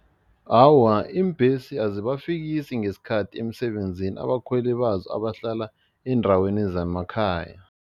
Awa, iimbhesi azibafikisi ngesikhathi emsebenzini abakhweli bazo abahlala eendaweni zemakhaya.